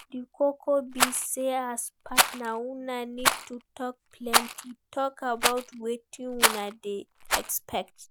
Di koko be sey as partner una need to talk plenty talk about wetin una dey expect